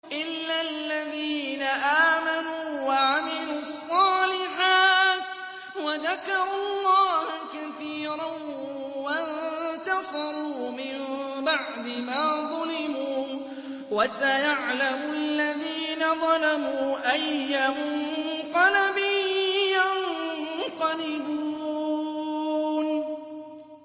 إِلَّا الَّذِينَ آمَنُوا وَعَمِلُوا الصَّالِحَاتِ وَذَكَرُوا اللَّهَ كَثِيرًا وَانتَصَرُوا مِن بَعْدِ مَا ظُلِمُوا ۗ وَسَيَعْلَمُ الَّذِينَ ظَلَمُوا أَيَّ مُنقَلَبٍ يَنقَلِبُونَ